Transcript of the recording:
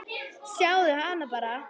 Sjáðu hana bara!